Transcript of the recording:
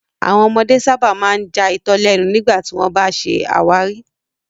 Àwọn ọmọdé sábà máa ń já itọ lẹnu nígbà tí wọ́n bá ń ṣe àwárí